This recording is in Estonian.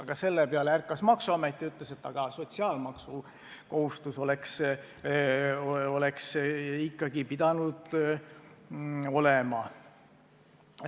Aga selle peale ärkas maksuamet ja ütles, et sotsiaalmaksukohustus oleks ikkagi pidanud olema.